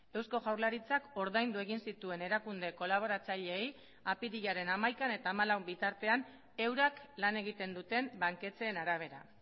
eusko jaurlaritzak ordaindu egin zituen erakunde kolaboratzaileei apirilaren hamaikaan eta hamalau bitartean eurak lan egiten duten banketxeen arabera